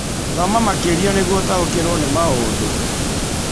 Thoma makĩria nĩguo ũtaũkĩrũo nĩ maũndũ